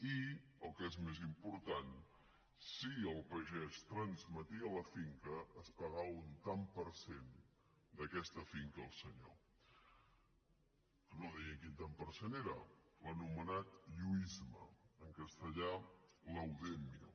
i el que és més important si el pagès transmetia la finca es pagava un tant per cent d’aquesta finca al senyor no deia quin tant per cent era l’anomenat lluïsme en castellà laudemio